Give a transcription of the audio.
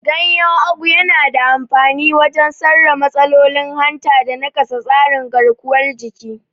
Ganyen Ugu yana da amfani wajen sarra matsalolin hanta da nakasa tsarin garkuwar jiki.